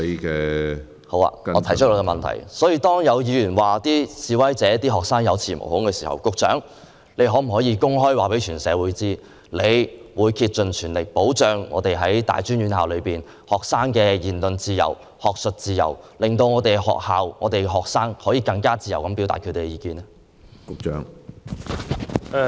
局長，當有議員指示威學生有恃無恐，你可否公開告訴社會，你會竭盡全力保障大專院校學生的言論自由及學術自由，令學校和學生可以更自由地表達意見？